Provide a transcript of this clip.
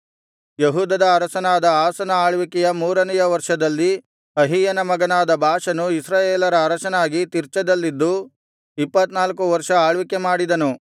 ಯೆಹೂದದ ಅರಸನಾದ ಆಸನ ಆಳ್ವಿಕೆಯ ಮೂರನೆಯ ವರ್ಷದಲ್ಲಿ ಅಹೀಯನ ಮಗನಾದ ಬಾಷನು ಇಸ್ರಾಯೇಲರ ಅರಸನಾಗಿ ತಿರ್ಚದಲ್ಲಿದ್ದು ಇಪ್ಪತ್ತನಾಲ್ಕು ವರ್ಷ ಆಳ್ವಿಕೆ ಮಾಡಿದನು